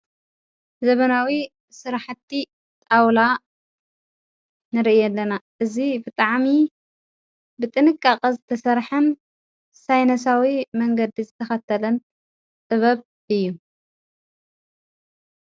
ዘበናዊ ሥራሕቲ ጣውላ ነረአ ኣለና እዝ ፍጥዓሚዪ ብጥንቃቐዝ ተሠርሐን ሳይነሳዊ መንገዲ ዝተኸተለን ጥበብ እዩ።